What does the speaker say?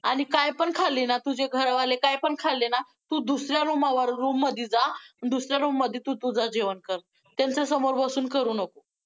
आणि काय पण खाल्ली ना, तुझे घर वाले काय पण खाल्ले ना, तू दुसऱ्या room वर, room मध्ये जा दुसऱ्या room मध्ये तू तुझं जेवण कर, त्यांच्यासमोर बसून करु नको.